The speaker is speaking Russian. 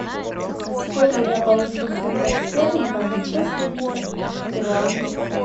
сколько я получу фунтов стерлингов за сто семьдесят перуанских солей